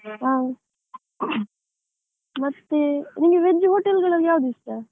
ಹಾ, ಮತ್ತೆ, ನಿನಗೆ veg hotel ಗಳಲ್ಲಿ ಯಾವುದು ಇಷ್ಟ ?